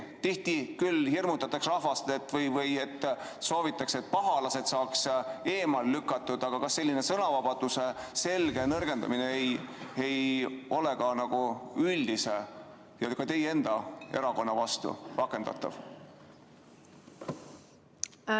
Tihti hirmutatakse rahvast või soovitakse, et pahalased saaks eemale lükatud, aga kas selline sõnavabaduse selge nõrgestamine ei või olla ka teie enda erakonna vastu rakendatav?